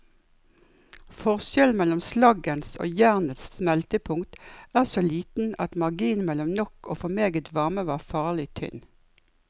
Forskjellen mellom slaggens og jernets smeltepunkt er så liten at marginen mellom nok og for meget varme var farlig tynn.